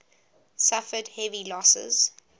suffered heavy losses